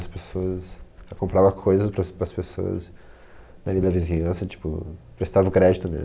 As pessoas... Eu comprava coisas pras pras pessoas na minha vizinhança, tipo, prestava o crédito, né?